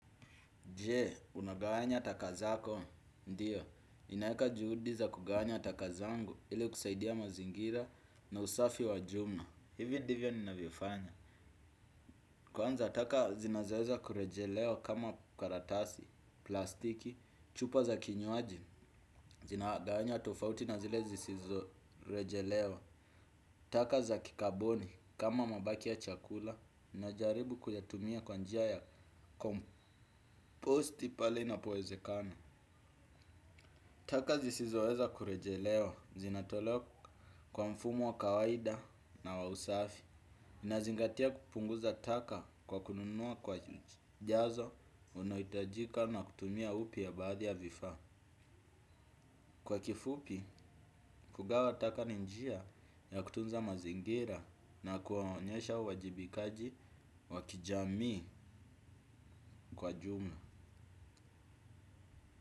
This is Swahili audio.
Je? Unagawanya taka zako? Ndiyo, ninaeka juhudi za kugawanya taka zangu ili kusaidia mazingira na usafi wa jumla. Hivi divyo ninavifanya. Kwanza taka zinazoeza kurejelewa kama karatasi, plastiki, chupa za kinywaji, zinagawanywa tofauti na zile zisizo rejelewa. Taka za kikaboni kama mabaki ya chakula najaribu kuyatumia kwa njia ya komposti pale inapoezekana. Taka zisizoweza kurejelewa zinatolewa kwa mfumo wa kawaida na wa usafi. Inazingatia kupunguza taka kwa kununua kwa jazo unaoitajika na kutumia upya baadhi ya vifaa. Kwa kifupi, kugawa taka ni njia ya kutunza mazingira na kuwaonyesha uwajibikaji wa kijamii kwa jumla.